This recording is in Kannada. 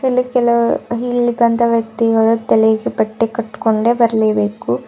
ಇಲ್ಲಿ ಕೆಲವು ಇಲ್ಲಿ ಬಂದ ವ್ಯಕ್ತಿಗಳು ತಲೆಗೆ ಬಟ್ಟೆ ಕಟ್ಕೊಂಡೆ ಬರ್ಲೆ ಬೇಕು.